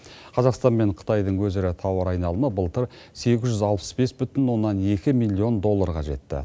қазақстан мен қытайдың өзара тауар айналымы былтыр сегіз жүз алпыс бес бүтін оннан екі миллион долларға жетті